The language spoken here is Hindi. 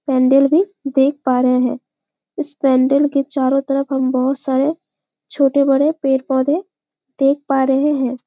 पेंडल भी देख पा रहे हैं इस पेंडल के चारों तरफ हम बहुत सारे छोटे बड़े पेड़-पोधे देख पा रहे है।